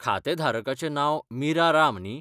खातें धारकाचें नांव मीरा राम न्ही?